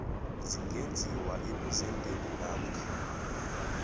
zingenziwa ebuzendeni namkha